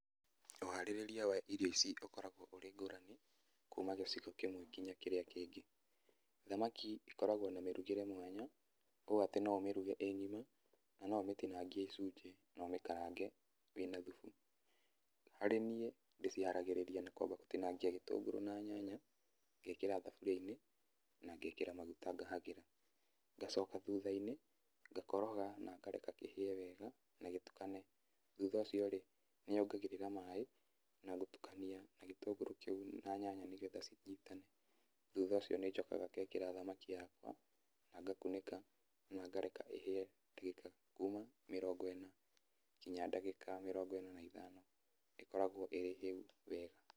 Ũharĩrĩa wa irio ici ũkoragwo ũrĩ ngũrani, kuma gĩcigo kĩmwe nginya kĩrĩa kĩngĩ. Thamaki ĩkoragwo na mĩrugĩre mwanya, ũ atĩ no ũmĩruge ĩ ng'ima, kana no ũmĩtinangie icunjĩ na ũmĩkarange wĩ na thubu. Harĩ niĩ ndĩciharagĩrĩria na kwamba gũtinangia gĩtũngũrũ na nyanya, ngekĩra thaburia-inĩ, na ngekĩra maguta ngahagĩra. Ngacoka thutha-inĩ ngakoroga na ngareka kĩhĩe wega, na gĩtukane. Thutha ũcio rĩ, nĩ nyongagĩrĩra maĩ na gũtukania gĩtũngũrũ kĩu na nyanya, nĩgetha cinyitane. Thutha ũcio nĩ njokaga ngekĩra thamaki yakwa, na ngakunĩka na ngareka ĩhĩe ndagĩka kuma mĩrongo ĩna nginya ndagĩka mĩrongo ĩna na ithano, ĩkoragwo ĩrĩ hĩu wega.